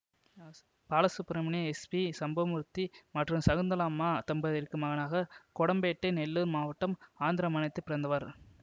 Balasubramaniam S P Sambamurthy மற்றும் சகுந்தலம்மா தம்பதியருக்கு மகனாக கொடம்பேட்டை நெல்லூர் மாவட்டம் ஆந்திர மாநிலத்தில் பிறந்தவர்